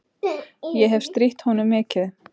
Ég hefi strítt honum mikið.